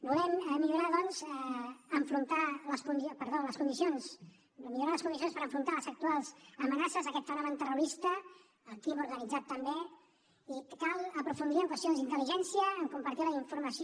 volem millorar les condicions per enfrontar les actuals amenaces aquest fenomen terrorista el crim organitzat també i cal aprofundir en qüestions d’intel·ligència en compartir la informació